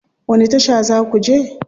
Wani tasha za ku je?